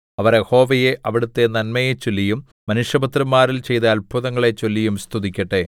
അവർ യഹോവയെ അവിടുത്തെ നന്മയെചൊല്ലിയും മനുഷ്യപുത്രന്മാരിൽ ചെയ്ത അത്ഭുതങ്ങളെ ചൊല്ലിയും സ്തുതിക്കട്ടെ